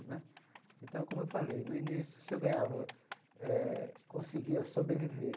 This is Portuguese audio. Né então, como eu falei, no início, se eu ganhava eh, conseguia sobreviver.